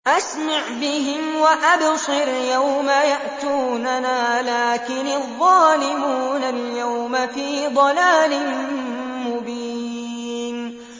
أَسْمِعْ بِهِمْ وَأَبْصِرْ يَوْمَ يَأْتُونَنَا ۖ لَٰكِنِ الظَّالِمُونَ الْيَوْمَ فِي ضَلَالٍ مُّبِينٍ